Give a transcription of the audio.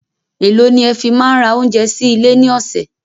Èló ni ẹ fi máa ń ra oúnjẹ sí ilé ní ọ̀sẹ̀?